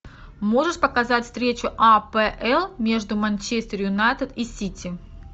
можешь показать встречу апл между манчестер юнайтед и сити